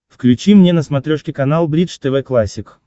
включи мне на смотрешке канал бридж тв классик